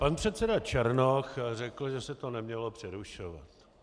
Pan předseda Černoch řekl, že se to nemělo přerušovat.